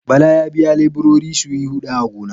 Bala ya biya leburori su yi huɗa a gona.